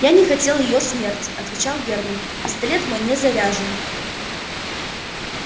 я не хотел её смерти отвечал германн пистолет мой не заряжен